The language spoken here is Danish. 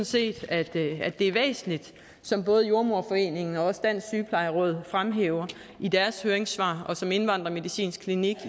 set at det er væsentligt som både jordemoderforeningen og dansk sygeplejeråd fremhæver i deres høringssvar og som indvandrermedicinsk klinik